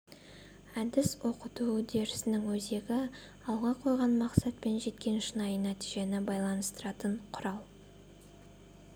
әдіс оқыту үдерісінің өзегі алға қойған мақсат пен жеткен шынайы нәтижені байланыстыратын құрал